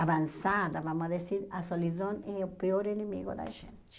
avançada, vamos dizer, a solidão é o pior inimigo da gente.